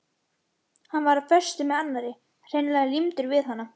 Hann var á föstu með annarri, hreinlega límdur við hana.